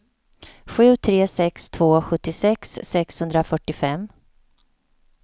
sju tre sex två sjuttiosex sexhundrafyrtiofem